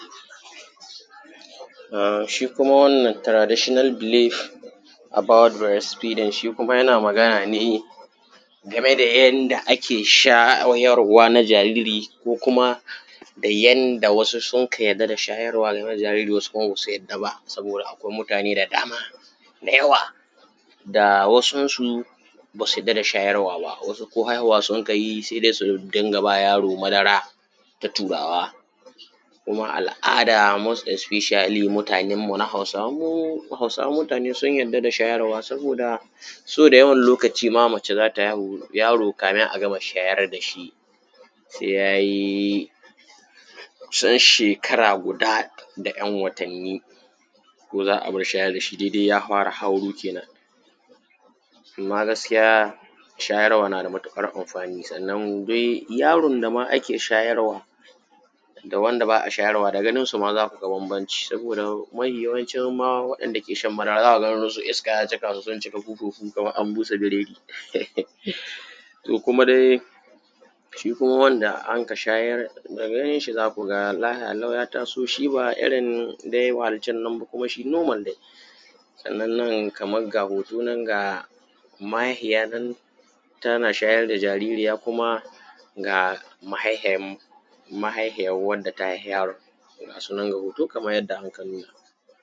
A shi kuma wannan traditional Believe about breast Feeding shi kuma yana magana ne game da yanda ake shayarwa na jariri ko kuma yanda wasu sun ka yadda da shayarawa na jariri, wasu kuma ba su yadda ba saboda akwai mutane da dama da yawa da wasunsu ba su yadda da shayarwa ba, wasu ko haihuwa sukai yi se dai su dinga aba yaro madara ta Turawa. Kuma al’ada most esfishiyali mutanen mu na Hausawan mutane sun yarda da shayarwa sobada yawan lokaci ma mace za ta haihu yaro kafun a gama shayar da shi se ya yi kusan shekara guda da ɗan watanni, ko za a bar shayar da shi daidai ya fara hauro, kenan amma shayarwa na da matuƙar amfani sannan duk yaron da ma ake shayarwa da wanda ba a shayarawa da ganinsu ma za mu ga bambanci, saboda mafiyawancin ma za ka ga gan su iska ya jiƙa su sun jiƙa buhuhu kaman an jiƙa biredi. To, kuma dai shi kuma wanda anka shayar da ganin shi za ku ga lafiyalau ya taso shi ba irin dai wa’ancan ba kuma shi nomal, sannan nan kaman ga hoto nan mahaifiya nan tana shayar da jaririya kuma ga mahaifiyan, mahaifiyan wanda ta haifa yaron ga sunan a hoto kaman yanda anka nuna.